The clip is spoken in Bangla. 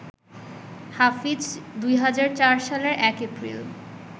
হাফিজ ২০০৪ সালের ১ এপ্রিল